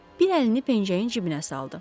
Bir əlini pencəyin cibinə saldı.